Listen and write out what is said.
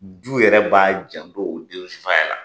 Du yɛrɛ b'a janto o den faya la.